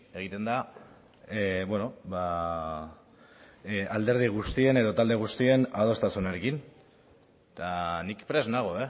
egiten da alderdi guztien edo talde guztien adostasunarekin eta nik prest nago